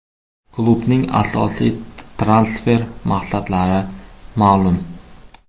Klubning asosiy transfer maqsadlari ma’lum.